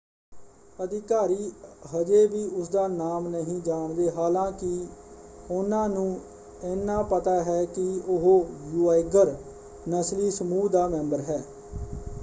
ਅਧਿਕਾਰੀ ਹਜੇ ਵੀ ਉਸਦਾ ਨਾਮ ਨਹੀਂ ਜਾਣਦੇ ਹਾਲਾਂਕਿ ਉਹਨਾਂ ਨੂੰ ਇਹਨਾਂ ਪਤਾ ਹੈ ਕਿ ਉਹ ਯੂਆਇਗਰ ਨਸਲੀ ਸਮੂਹ ਦਾ ਮੈਂਬਰ ਹੈ।